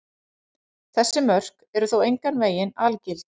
Þessi mörk eru þó engan veginn algild.